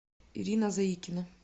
ирина заикина